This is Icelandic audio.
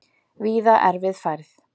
Víða erfið færð